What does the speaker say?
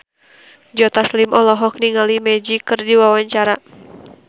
Joe Taslim olohok ningali Magic keur diwawancara